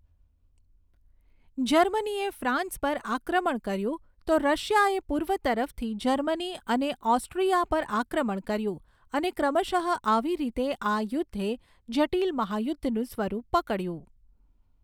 જર્મનીએ ફ્રાન્સ પર આક્રમણ કર્યું તો રશિયાએ પૂર્વ તરફથી જર્મની અને ઓસ્ટ્રિયા પર આક્રમણ કર્યું અને ક્રમશઃ આવી રીતે આ યુદ્ધએ જટીલ મહાયુદ્ધનું સ્વરૂપ પકડ્યું.